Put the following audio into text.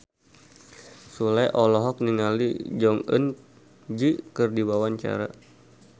Sule olohok ningali Jong Eun Ji keur diwawancara